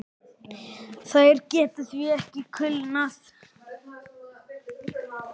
Þær geta því ekki kulnað.